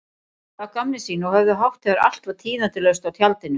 Gerðu að gamni sínu og höfðu hátt þegar allt var tíðindalaust á tjaldinu.